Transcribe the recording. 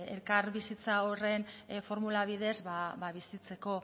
elkarbizitza horren formula bidez bizitzeko